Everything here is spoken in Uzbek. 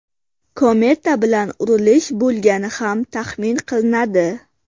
Kometa bilan urilish bo‘lgani ham taxmin qilinadi.